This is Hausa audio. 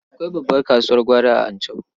Akwai babbar kasuwar gwari a Anchau.